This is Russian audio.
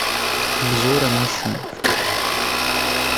обзоры машин